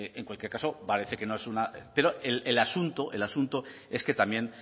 en cualquier caso parece que no es una pero el asunto el asunto es que también